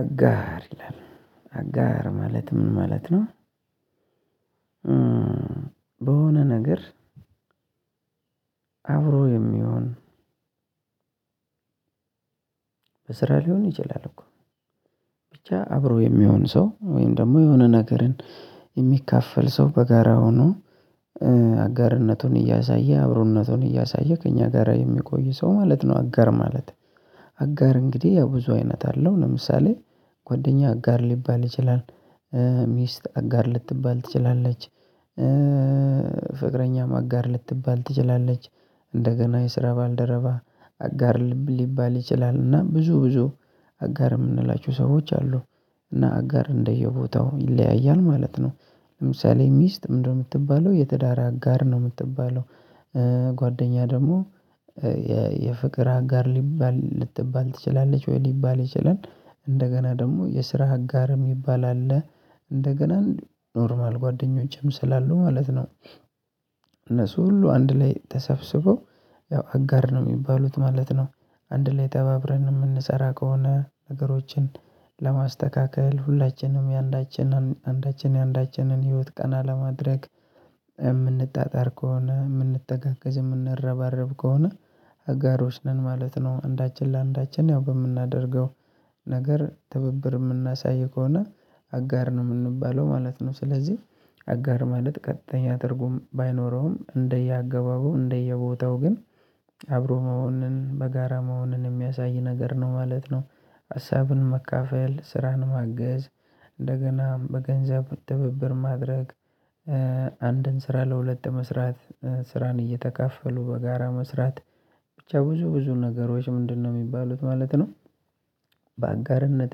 አጋር ይላል አጋር ማለት ምን ማለት ነው? በሆነ ነገር አብሮ የሚሆን በስራ ሊሆን ይችላል እኮ ብቻ አብሮ የሚሆን ሰው ወይም ደግሞ የሆነ ነገርን የሚካፈል ሰው በጋራ ሆኖ አጋርነቱን እያሳየ አብሮነቱን እያሳየ ከእኛ ጋር የሚቆይ ሰው ማለት ነው አጋር ማለት። አጋር እንግዲህ ያው ብዙ አይነት አለው ለምሳሌ ጓደኛ አጋር ሊባል ይችላል። ሚስት አጋር ልትባል ትችላለች፤ ፍቅረኛም አጋር ልትባል ትችላለች፤ እንደገና የስራ ባልደረባ አጋር ሊባል ይችላልና ብዙ ብዙ። አጋር የምንላቸው ሰዎች አሉ እና አጋር እንደየቦታው ይለያያል ማለት ነው። ለምሳሌ ሚስት ምንድነው የምትባለው የትዳር አጋር ነው የምትባለው። ጓደኛ ደግሞ የፍቅር አጋር ሊባል ልትባል ትችላለች ወይ ሊባል ይችላል እንደገና ደግሞ የስራ አጋርም ምባል አለ እንደገና ኖርማል ጓደኞቼም ስላሉ ማለት ነው እነሱ ሁሉ አንድ ላይ ተሰብስበው ያው አጋር ነው የሚባሉት ማለት ነው አንድ ላይ ተባብረን የምንሰራ ከሆነ ነገሮችን ለማስተካከል ሁላችንም የአንዳችን አንዳችን የአንዳችንን ህይወት ቀና ለማድረግ የምንጣጣር ከሆነ የምንተጋገዝ የምንረባረብ ከሆነ አጋሮች ነን ማለት ነው አንዳችን ለአንዳችን ያው በምናደርገው ነገር ትብብር የምናሳይ ከሆነ አጋር ነው የምንባለው ማለት ነው። ስለዚህ አጋር ማለት ቀጥተኛ ትርጉም ባይኖረውም እንደየአገባቡ እንደየቦታው ግን አብሮ መሆንን በጋራ መሆንን የሚያሳይ ነገር ነው ማለት ነው ሀሳብን መካፈል ስራን ማገዝ እንደገና በገንዘብ ትብብር ማድረግ አንድን ስራ ለሁለት መስራት ስራን እየተካፈሉ በጋራ መስራት። ብቻ ብዙ ብዙ ነገሮች ምንድነው የሚባሉት ማለት ነው? በአጋርነት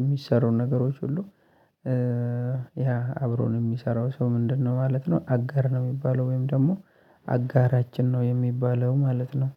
የሚሰሩ ነገሮች ሁሉ ያ አብሮን የሚሰራው ሰው ምንድነው ማለት ነው? አጋር ነው የሚባለው ወይም ደግሞ አጋራችን ነው የሚባለው ማለት ነው።